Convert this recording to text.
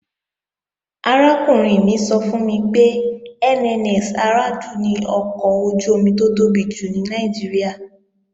Arákùnrin mi sọ fún mi pé NNS Aradu ni ọkọ̀ ojú-omi tó tóbi jù ní Nàìjíríà